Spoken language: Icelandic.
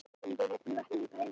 Ég vaknaði í bæði skiptin.